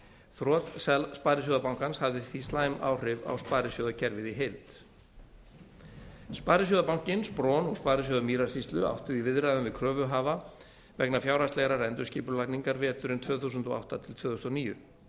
þrot sparisjóðabankans hafði því slæm áhrif á sparisjóðakerfið í heild sparisjóðabankinn spron og sparisjóður mýrasýslu áttu í viðræðum við kröfuhafa vegna fjárhagslegrar endurskipulagningar veturinn tvö þúsund og átta til tvö þúsund og níu